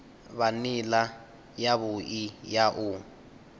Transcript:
vha nila yavhui ya u